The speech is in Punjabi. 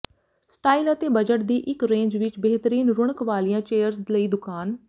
ਸਟਾਈਲ ਅਤੇ ਬਜਟ ਦੀ ਇੱਕ ਰੇਂਜ ਵਿੱਚ ਬਿਹਤਰੀਨ ਰੁਕਣ ਵਾਲੀਆਂ ਚੇਅਰਜ਼ ਲਈ ਦੁਕਾਨ